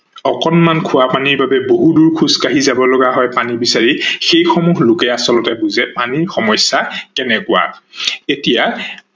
অকনমান খোৱা পানীৰ বাবে বহু দূৰ খোজ কাহি যাৱ লগা হয় পানী বিচাৰি সেই সমূহ লোকে আচলতে বুজে পানীৰ সমস্যা কেনেকোৱা, এতিয়া